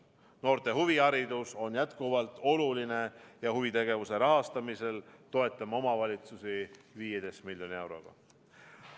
Noorte huviharidus on jätkuvalt oluline ja huvitegevuse rahastamisel toetame omavalitsusi 15 miljoni euroga.